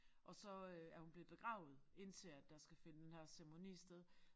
Og så øh er hun blevet begravet indtil at der skal finde den her ceremoni sted